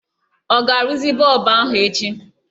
Ọ ga-arụzi bọlbụ anyị echi?